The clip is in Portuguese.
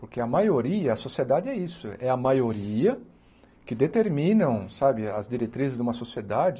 Porque a maioria, a sociedade é isso, é a maioria que determina, sabe, as diretrizes de uma sociedade.